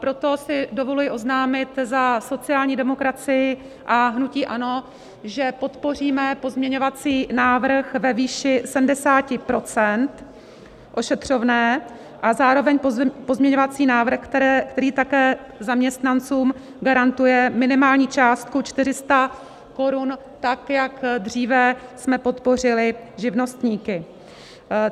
Proto si dovoluji oznámit za sociální demokracii a hnutí ANO, že podpoříme pozměňovací návrh ve výši 70 % ošetřovné a zároveň pozměňovací návrh, který také zaměstnancům garantuje minimální částku 400 korun tak, jak dříve jsme podpořili živnostníky.